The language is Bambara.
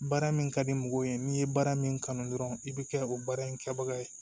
Baara min ka di mɔgɔw ye n'i ye baara min kanu dɔrɔn i bɛ kɛ o baara in kɛbaga ye